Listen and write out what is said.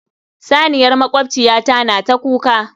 Saniyar makwabciyata na ta kuka.